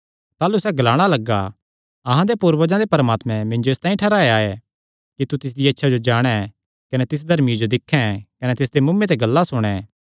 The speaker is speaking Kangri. ताह़लू सैह़ ग्लाणा लग्गा अहां दे पूर्वजां दे परमात्मैं मिन्जो इसतांई ठैहराया ऐ कि तू तिसदिया इच्छा जो जाणे कने तिस धर्मिये जो दिक्खैं कने तिसदे मुँऐ ते गल्लां सुणे